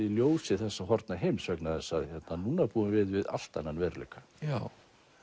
í ljósi þessa horfna heims vegna þess að núna búum við við allt annan veruleika já